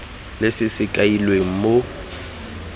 le se se kailweng mo